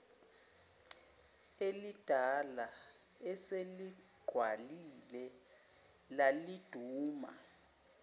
elidala eseligqwalile laliduma